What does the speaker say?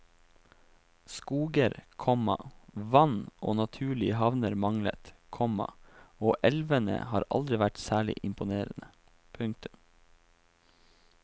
Skoger, komma vann og naturlige havner manglet, komma og elvene har aldri vært særlig imponerende. punktum